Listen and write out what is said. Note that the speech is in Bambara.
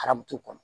Arabu kɔnɔ